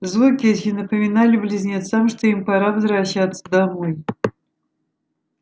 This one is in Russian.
звуки эти напомнили близнецам что им пора возвращаться домой